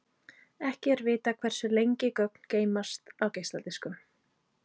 Ekki er vitað hversu lengi gögn geymast á geisladiskum.